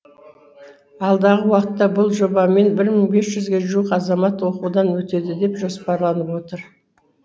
алдағы уақытта бұл жобамен бір мың бес жүзге жуық азамат оқудан өтеді деп жоспарланып отыр